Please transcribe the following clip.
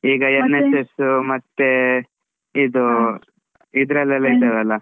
NSS ಮತ್ತೆ ಇದ್~ ಇದ್ರಲ್ಲಿ ಎಲ್ಲ ಇರ್ತದೆ ಅಲ.